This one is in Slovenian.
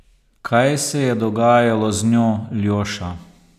Kaj se je dogajalo z njo, Ljoša!